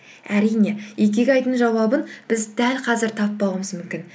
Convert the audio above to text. әрине икигайдың жауабын біз дәл қазір таппауымыз мүмкін